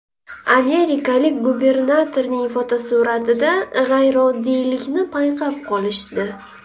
Amerikalik gubernatorning fotosuratida g‘ayrioddiylikni payqab qolishdi.